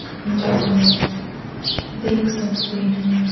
जो लोग देख सकते हैं।